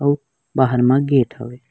अऊ बाहर म गेट हवय ।